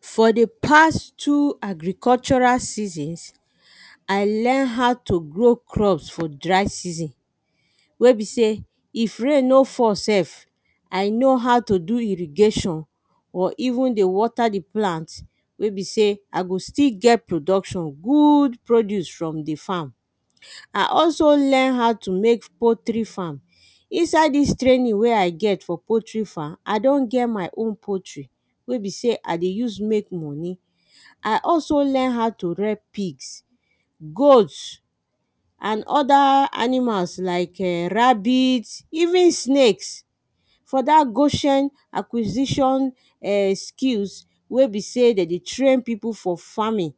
For the past two agricultural seasons I learn how to grow crops for dry season wey be say if rain no fall sef I know how to do irrigation or even dey water the plants wey be sey i go still get production good produce from the farm. I also learn how to make poultry farm Inside this training wey I get for poultry farm I don get my own poultry wey be sey I dey use make money I also learn how to rare pigs, goats, and other animals like rabbits even snakes. for that goshen acquisition um skills wey be sey them dey train people for farming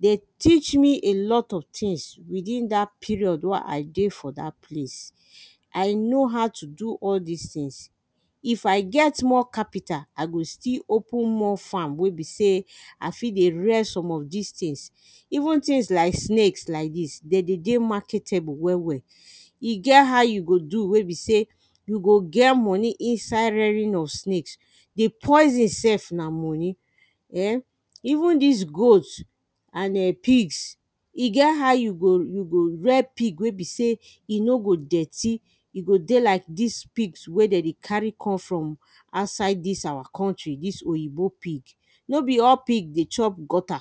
they teach me a lot of tings within that period wey I dey for that place. I know how to do all these tings If I get more capital I go still open more farm wey be sey I fit dey rare some of these tings. Even this like snake like this them de dey marketable well well e get how you go do wey be sey you go get money inside raring of snakes the poison sef na money eh even this goats and [ehn] pigs e get how you go you go rare pigs wey be sey e no go dirty e go dey like these pigs wey them they carry come from outside this our country this oyibo pig no be all pigs dey chop gutter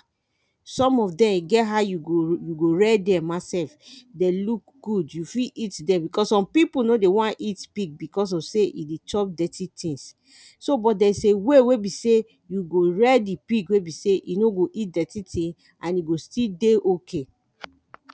some of them e get how you go you go rare them ma sef they look good you fit eat them because some people no dey want eat pig because of sey them they chop dirty tings so but there is way wey be sey you go rare the pigs wey be sey e no go chop dirty tings and e go still dey ok